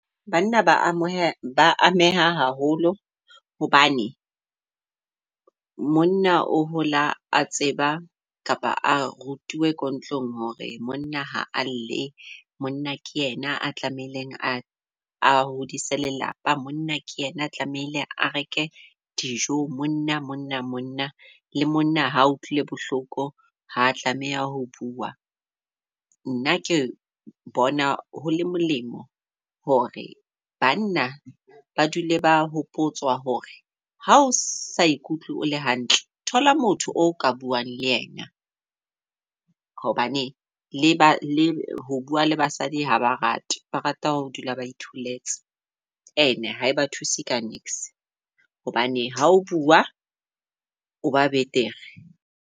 Banna ba amohela ba ameha haholo hobane monna o hola a tseba kapa a rutuwe ko ntlong hore monna ha a lle monna ke yena a tlamehileng a hodise lelapa. Monna ke yena a tlamehile a reke dijo monna monna monna. Le monna ha a utlwile bohloko, ha tlameha ho bua. Nna ke re bona ho le molemo hore banna ba dule ba hopotsa hore ha o sa ikutlwe o le hantle, thola motho o ka buang le yena hobane le ba le ho bua le basadi haba rate. Ba rata ho dula ba itholetse And-e ha eba thuse ka niks hobane ha o bua o ba betere.